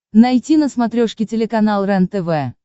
найти на смотрешке телеканал рентв